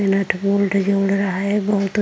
नट bolt जोड़ रहा है। बोहोत --